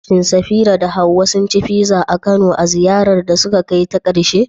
Shin Safira da Hawwa sun ci pizza a Kano a ziyarar da suka kai ta ƙarshe?